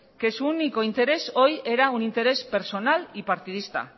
que su único interés hoy era un interés personal y partidista